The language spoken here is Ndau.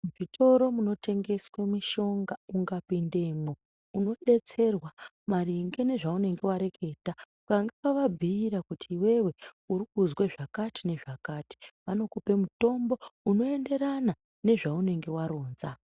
Mizvitoro munotengeswe mishonga ukapindemwo unodetserwa maringe nezvaunenge wareketa ukange wavabhuyira kuti iwewe uri kuzwe zvakati nezvakati vanokupe mutombo unoenderana nezvaunenge waronza.